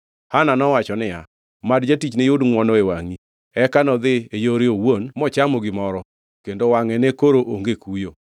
Hana nowacho niya, “Mad jatichni yud ngʼwono e wangʼi.” Eka nodhi e yore owuon mochamo gimoro, kendo wangʼe ne koro onge kuyo.